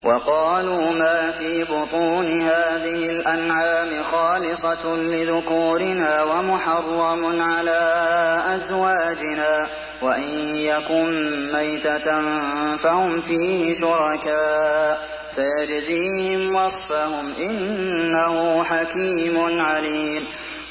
وَقَالُوا مَا فِي بُطُونِ هَٰذِهِ الْأَنْعَامِ خَالِصَةٌ لِّذُكُورِنَا وَمُحَرَّمٌ عَلَىٰ أَزْوَاجِنَا ۖ وَإِن يَكُن مَّيْتَةً فَهُمْ فِيهِ شُرَكَاءُ ۚ سَيَجْزِيهِمْ وَصْفَهُمْ ۚ إِنَّهُ حَكِيمٌ عَلِيمٌ